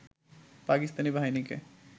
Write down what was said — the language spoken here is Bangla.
পাকিস্তানী বাহিনীকে